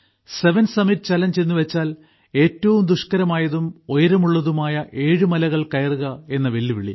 seven summit challenge എന്നുവെച്ചാൽ ഏറ്റവും ദുഷ്കരമായതും ഉയരമുള്ളതുമായ ഏഴ് മലകൾ കയറുക എന്ന വെല്ലുവിളി